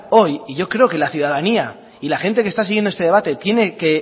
hoy y yo creo que la ciudadanía y la gente que está siguiendo este debate tiene que